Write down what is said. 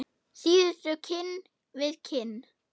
Síðustu kinn við kinn.